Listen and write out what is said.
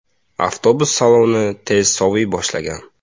Avtobus saloni tez soviy boshlagan.